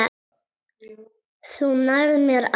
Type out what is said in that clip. Þú nærð mér aldrei.